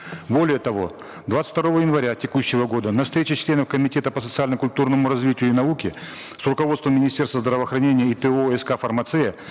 более того двадцать второго января текущего года на встрече членов комитета по социально культурному развитию и науке с руководством министерства здравоохранения и то ск фармация